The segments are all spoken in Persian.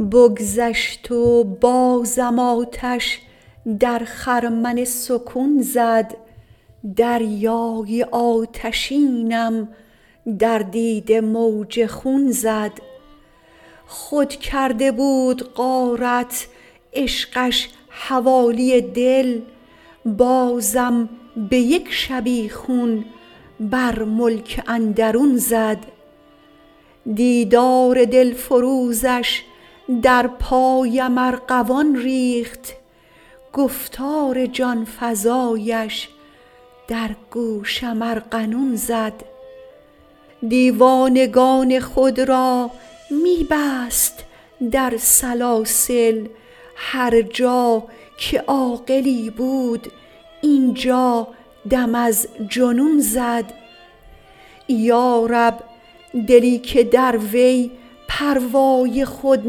بگذشت و بازم آتش در خرمن سکون زد دریای آتشینم در دیده موج خون زد خود کرده بود غارت عشقش حوالی دل بازم به یک شبیخون بر ملک اندرون زد دیدار دلفروزش در پایم ارغوان ریخت گفتار جان فزایش در گوشم ارغنون زد دیوانگان خود را می بست در سلاسل هر جا که عاقلی بود اینجا دم از جنون زد یا رب دلی که در وی پروای خود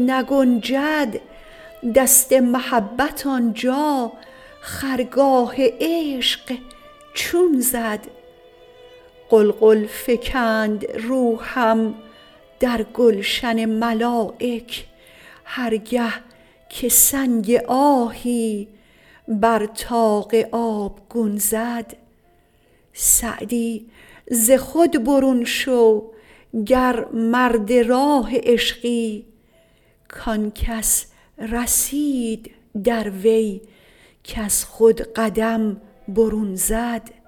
نگنجد دست محبت آنجا خرگاه عشق چون زد غلغل فکند روحم در گلشن ملایک هر گه که سنگ آهی بر طاق آبگون زد سعدی ز خود برون شو گر مرد راه عشقی کان کس رسید در وی کز خود قدم برون زد